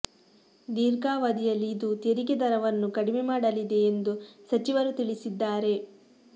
ದೀರ್ಘಾವಧಿಯಲ್ಲಿ ಇದು ತೆರಿಗೆ ದರವನ್ನು ಕಡಿಮೆ ಮಾಡಲಿದೆ ಎಂದು ಸಚಿವರು ತಿಳಿಸಿದ್ದಾರೆ